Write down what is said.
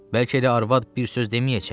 Bəlkə elə arvad bir söz deməyəcək.